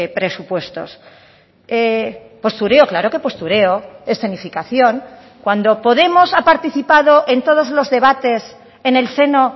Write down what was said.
presupuestos postureo claro que postureo escenificación cuando podemos ha participado en todos los debates en el seno